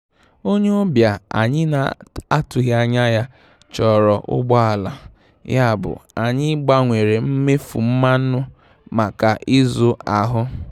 Onye ọbịa anyị na-atụghị anya ya chọrọ ụgbọ ala, yabụ anyị gbanwere mmefu mmanụ maka izu ahụ.